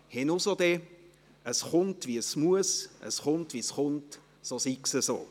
«Henusode, es chunnt wies muess, es chunnt wies chunnt, so sigs eso».